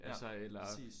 Ja præcis